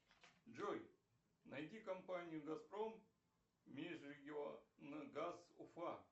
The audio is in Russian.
джой найди компанию газпром межрегионгаз уфа